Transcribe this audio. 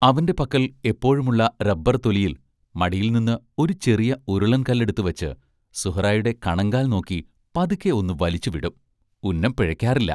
അവന്റെ പക്കൽ എപ്പോഴുമുള്ള റബ്ബർ തൊലിയിൽ മടിയിൽ നിന്ന് ഒരു ചെറിയ ഉരുളൻ കല്ലെടുത്ത് വച്ച് സുഹ്റായുടെ കണങ്കാൽ നോക്കി പതുക്കെ ഒന്നു വലിച്ചു വിടും ഉന്നം പിഴയ്ക്കാറില്ല.